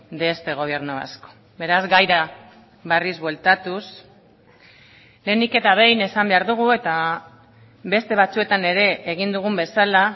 de este gobierno vasco beraz gaira berriz bueltatuz lehenik eta behin esan behar dugu eta beste batzuetan ere egin dugun bezala